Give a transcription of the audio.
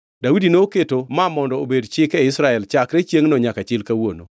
Daudi noketo ma obedo chik e Israel chakre chiengʼno nyaka chil kawuono.